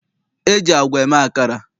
E ji agwa eme akara.